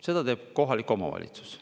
Seda teeb kohalik omavalitsus.